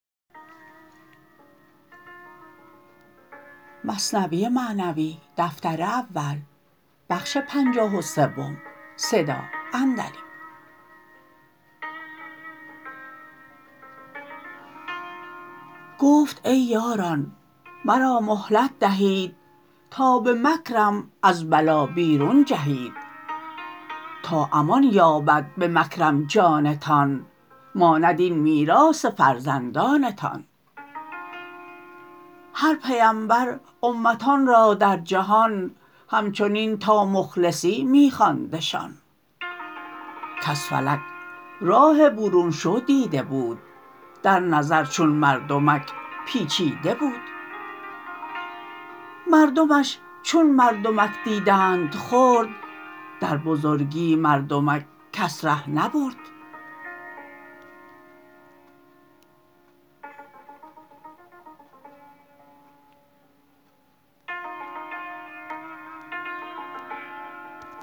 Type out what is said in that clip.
گفت ای یاران مرا مهلت دهید تا به مکرم از بلا بیرون جهید تا امان یابد به مکرم جانتان ماند این میراث فرزندانتان هر پیمبر امتان را در جهان همچنین تا مخلصی می خواندشان کز فلک راه برون شو دیده بود در نظر چون مردمک پیچیده بود مردمش چون مردمک دیدند خرد در بزرگی مردمک کس ره نبرد